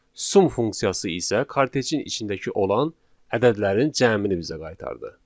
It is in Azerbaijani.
Sum funksiyası isə kartejin içindəki olan ədədlərin cəmini bizə qaytardı.